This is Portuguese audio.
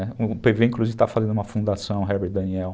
O pê vê, inclusive, está fazendo uma fundação, o Herbert Daniel,